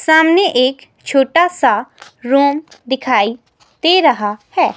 सामने एक छोटा सा रूम दिखाई दे रहा है.